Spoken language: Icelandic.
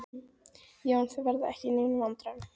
Já, en þið verðið ekki í neinum vandræðum.